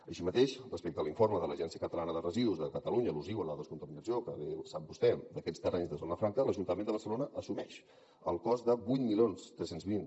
així mateix respecte a l’informe de l’agència catalana de residus de catalunya al·lusiu a la descontaminació que bé sap vostè d’aquests terrenys de zona franca l’ajuntament de barcelona assumeix el cost de vuit mil tres cents i vint